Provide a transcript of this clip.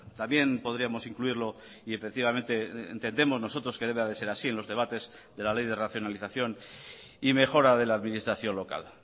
también podríamos incluirlo y efectivamente entendemos nosotros que debe de ser así en los debates de la ley de racionalización y mejora de la administración local